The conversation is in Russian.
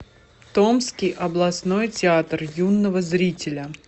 томский областной театр юного зрителя